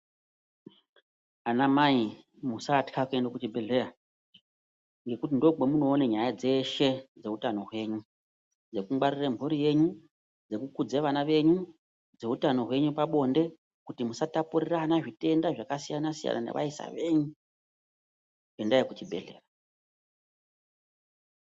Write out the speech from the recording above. Ana mai musatwa kuende kuchibhedhleya nekuti ndokwamunoone nyaya dzeshe dzekuutano hwenyu. Dzekungwarire mhuri yenyu. dzekukudze vana venyu, dzeutano hwenyu pabonde kuti musatapurirana zvitenda zvakasiyana-siyana nevaisa venyu, endai kuchibhedhlera.